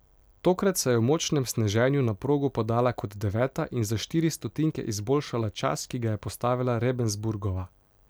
Tokrat se je v močnem sneženju na progo podala kot deveta in za štiri stotinke izboljšala čas, ki ga je postavila Rebensburgova.